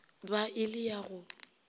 ba e le ya go